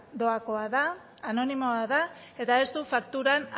doakoa da anonimoa da eta ez du fakturan